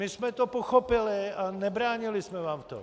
My jsme to pochopili a nebránili jsme vám v tom.